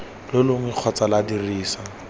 lo longwe kgotsa lwa dirisa